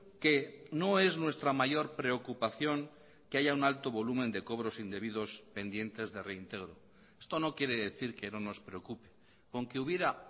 que no es nuestra mayor preocupación que haya un alto volumen de cobros indebidos pendientes de reintegro esto no quiere decir que no nos preocupe con que hubiera